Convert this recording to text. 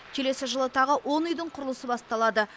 келесі жылы тағы он үйдің құрылысы басталады